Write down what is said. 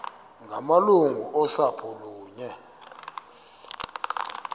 ngamalungu osapho kunye